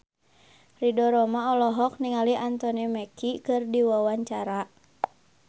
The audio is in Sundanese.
Ridho Roma olohok ningali Anthony Mackie keur diwawancara